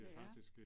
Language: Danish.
Ja